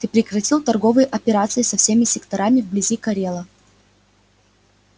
ты прекратил торговые операции со всеми секторами вблизи корела